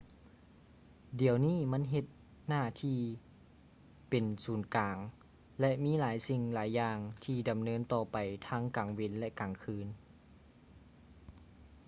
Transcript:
ດຽວນີ້ມັນເຮັດໜ້າທີ່ເປັນສູນກາງ ແລະ ມີຫຼາຍສິ່ງຫຼາຍຢ່າງທີ່ດຳເນີນຕໍ່ໄປທັງກາງເວັນ ແລະ ກາງຄືນ